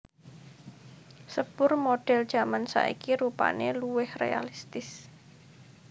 Sepur modèl jaman saiki rupané luwih réalistis